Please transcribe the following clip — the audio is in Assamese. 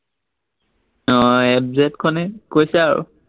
আহ এফ জেডখনেই কৈছো আৰু।